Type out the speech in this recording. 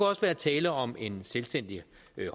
også være tale om en selvstændig